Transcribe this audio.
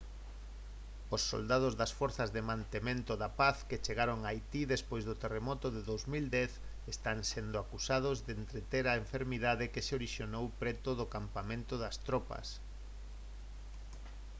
os soldados das forzas de mantemento da paz que chegaron a haití despois do terremoto do 2010 están sendo acusados de estender a enfermidade que se orixinou preto do campamento das tropas